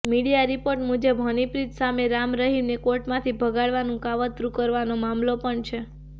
media report મુજબ હનીપ્રિત સામે રામરહીમને કોર્ટમાંથી ભગાડવાનું કાવતરુ કરવાનો મામલો પણ છે